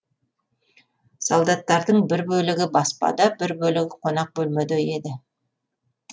солдаттардың бір бөлігі баспада бір бөлігі қонақ бөлмеде еді